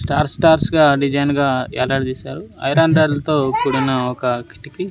stars stars గా design గా ఏలాడాదీశారు ఐరన్ రాడ్ లతో కూడిన ఒక కిటికీ --